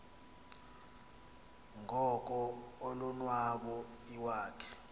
ngoko ulonwabo iwakhe